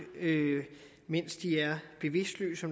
mens de er bevidstløse